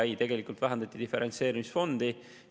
Ei, tegelikult vähendati diferentseerimisfondi.